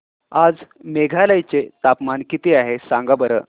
आज मेघालय चे तापमान किती आहे सांगा बरं